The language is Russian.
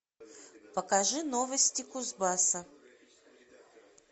покажи новости кузбасса